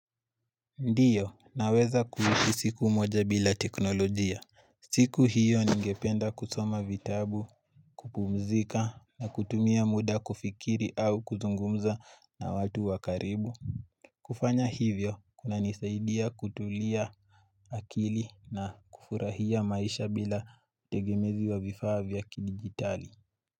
Ndiyo naweza kuishi siku moja bila teknolojia. Siku hiyo ningependa kusoma vitabu kupumzika na kutumia muda kufikiri au kuzungumza na watu wa karibu kufanya hivyo kunanisaidia kutulia akili na kufurahia maisha bila utegemezi wa vifaa vya kidigitali.